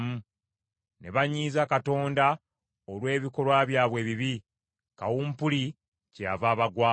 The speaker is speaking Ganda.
Ne banyiiza Katonda olw’ebikolwa byabwe ebibi; kawumpuli kyeyava abagwamu.